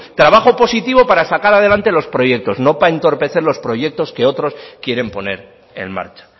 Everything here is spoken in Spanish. trabajo positivo para sacar adelante los proyectos no para entorpecer los proyectos que otros quieren poner en marcha